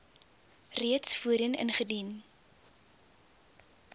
reeds voorheen ingedien